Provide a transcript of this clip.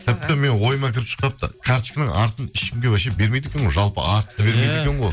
тіпті менің ойыма кіріп шықпапты карточканың артын ешкімге вообще бермейді екен ғой жалпы